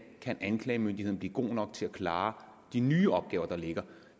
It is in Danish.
kan anklagemyndigheden blive god nok til at klare de nye opgaver der ligger